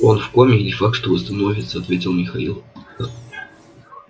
он в коме и не факт что восстановится ответил михаил